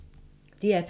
DR P2